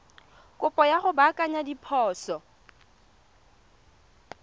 kopo ya go baakanya diphoso